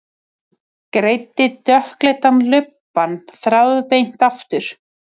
Greiddi dökkleitan lubbann þráðbeint aftur.